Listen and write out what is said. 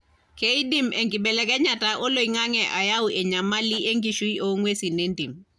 keidim enkibelekenyata oloingange ayau enyamali enkishui o ngwesin entim.